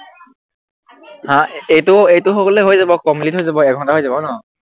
হা এইটো এইটো হৈ গলে হৈ যাব complete হৈ যাব এঘন্তা হৈ যাব ন